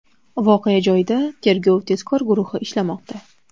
Voqea joyida tergov-tezkor guruhi ishlamoqda.